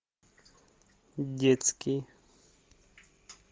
детский